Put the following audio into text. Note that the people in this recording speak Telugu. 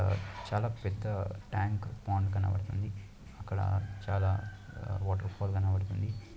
ఆ చాలా పెద్ద ట్యాంక్ పాండ్ కనపడుతుంది అక్కడ చాలా వాటర్ఫాల్ కనపడుతుంది.